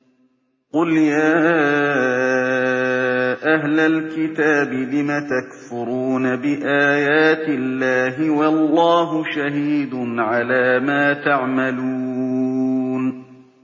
قُلْ يَا أَهْلَ الْكِتَابِ لِمَ تَكْفُرُونَ بِآيَاتِ اللَّهِ وَاللَّهُ شَهِيدٌ عَلَىٰ مَا تَعْمَلُونَ